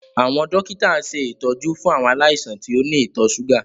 Àwọn dókítà ń ṣe ìtọ́jú fún àwọn aláìsàn tí ó ní ìtọ̀ ṣúgà